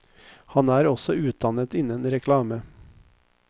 Han er også utdannet innen reklame.